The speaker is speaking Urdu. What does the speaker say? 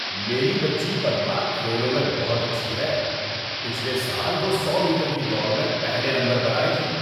میری بچی پدما کھیلوں میں بہت اچھی ہے۔ پچھلے سال وہ سو میٹر کی دوڑ میں پہلے نمبر پر آئی تھی۔